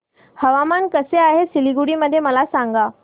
हवामान कसे आहे सिलीगुडी मध्ये मला सांगा